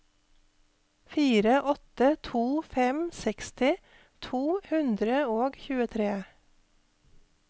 fire åtte to fem seksti to hundre og tjuetre